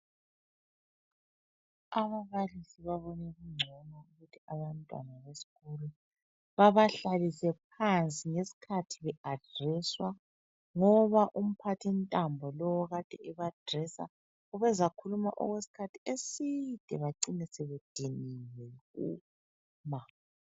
Ababalisi babone kungcono ukuthi abantwana besikolo babahlalise phansi ngesikhathi be adreswa ngoba umphathintambo lowu okade ebadresa ubezakhuluma okwesikhathi eside bacine sebediniwe.